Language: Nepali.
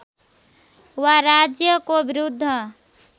वा राज्यको विरुद्ध